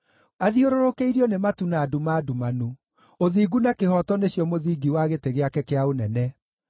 Athiũrũrũkĩirio nĩ matu na nduma ndumanu; ũthingu na kĩhooto nĩcio mũthingi wa gĩtĩ gĩake kĩa ũnene.